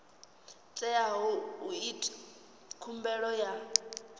teaho u ita khumbelo ya